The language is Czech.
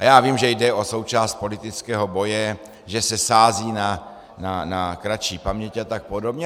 A já vím, že jde o součást politického boje, že se sází na kratší paměť a tak podobně.